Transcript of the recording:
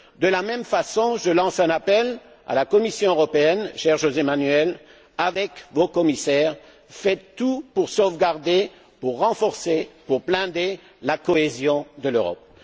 De la même façon, je lance un appel à la Commission européenne, cher José Manuel Barroso avec vos commissaires, faites tout pour sauvegarder, renforcer et blinder la cohésion de l'Europe.